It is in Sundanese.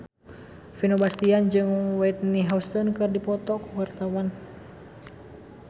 Vino Bastian jeung Whitney Houston keur dipoto ku wartawan